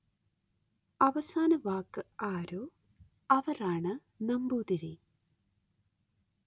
അവസാന വാക്ക് ആരോ അവര്‍ ആണ് നമ്പൂതിരി